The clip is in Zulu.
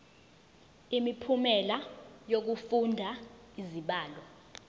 imiphumela yokufunda izibalo